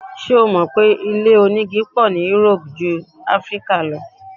Ṣé o mò pé ilé onígi pọ̀ ní Europe jú Áfíríkà lọ?